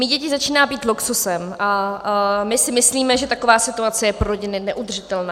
Mít děti začíná být luxusem a my si myslíme, že taková situace je pro rodiny neudržitelná.